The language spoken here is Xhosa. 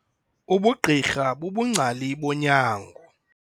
Ubugqirha bubungcali bonyango.